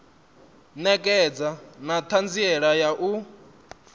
ṋekedza na ṱhanziela ya u